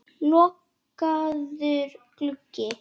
Lokaður gluggi.